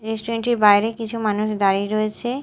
Restaurant -টির বাইরে কিছু মানুষ দাঁড়িয়ে রয়েছে।